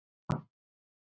Ég talaði stöðugt um hann.